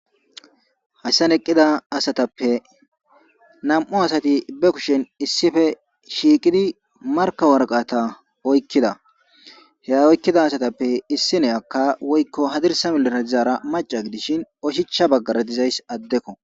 Hayssan eqida asatappe nam'u asati be kushen issipe shiiqidi markka waraqata oykkida. He oykidda asatappe issiniyaka woykko hadirssa milera dizara macca gidishin oshicha baggara dizayssi addeko.